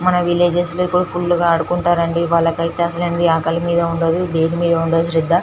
మన విలేజెస్ లో ఇప్పుడు ఫుల్ గ ఆడుకుంటారు అండి వాళ్ళకి ఐతే అసలు ఆకలి మిధ ఉండదు దేని మిధ ఉండదు శ్రద్ధ .